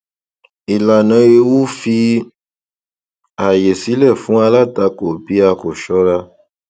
ìlànà ewu fi àyè sílẹ fún alatako bí a kò ṣọra